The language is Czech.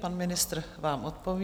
Pan ministr vám odpoví.